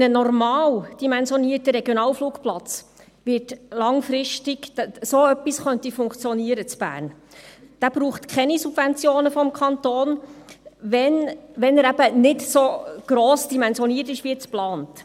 Damit ein normaldimensionierter Regionalflugplatz langfristig in Bern funktionieren kann, braucht er keine Subventionen des Kantons, wenn er eben nicht so gross dimensioniert ist wie geplant.